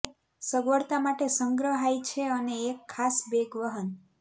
સગવડતા માટે સંગ્રહાય છે અને એક ખાસ બેગ વહન